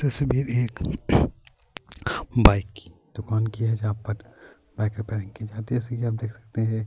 تصویر ایک بائیک کی دکان کی ہے، جہاں پر بائیک ریپرنگ کی جاتے ہے جیسا ک آپ دیکھ سکتے ہیں-